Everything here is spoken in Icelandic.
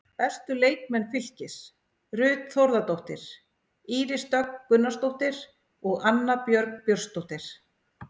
Bestu leikmenn Fylkis: Ruth Þórðardóttir, Íris Dögg Gunnarsdóttir og Anna Björg Björnsdóttir.